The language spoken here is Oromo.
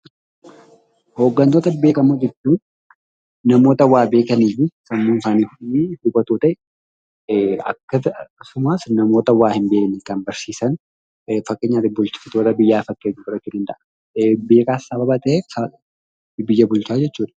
Hoggantoota beekamoo jechuun namoota waa beekanii fi sammuun isaanii hubatoo ta'e, akkasumas namoota kaan kan barsiisanidha. Akka fakkeenyaatti bulchitoota biyyaa maqaa dhahuu dandeenya.